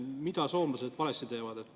Mida soomlased valesti teevad?